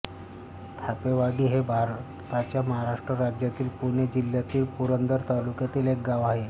थापेवाडी हे भारताच्या महाराष्ट्र राज्यातील पुणे जिल्ह्यातील पुरंदर तालुक्यातील एक गाव आहे